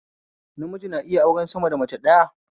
Namiji na iya auren sama da mace ɗaya